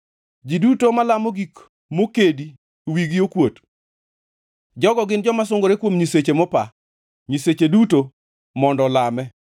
Ji duto malamo gik mokedi wigi okuot; jogo gin joma sungore kuom nyiseche mopa; nyiseche duto mondo olame!